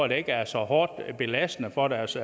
der ikke er så hårdt og belastende for deres